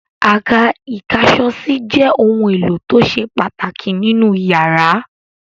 Àká ìkáṣọsí jẹ́ ohun-èlò tó ṣe pàtàkì nínú ìyàrá.